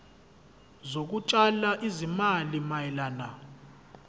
zokutshala izimali mayelana